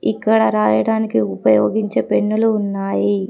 ఇక్కడ రాయడానికి ఉపయోగించే పెన్నులు ఉన్నాయి.